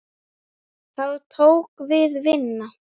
Þá tók við vinna.